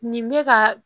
Nin bɛ ka